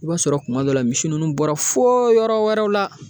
I b'a sɔrɔ kuma dɔ la misi nunnu bɔra fo yɔrɔ wɛrɛw la